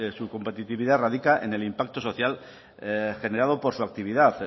su competitividad radica en el impacto social generado por su actividad